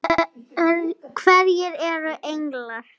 Hverjir eru englar?